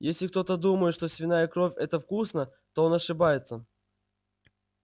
если кто-то думает что свиная кровь это вкусно то он ошибается